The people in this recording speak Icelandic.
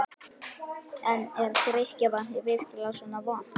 En er drykkjarvatnið virkilega svona vont?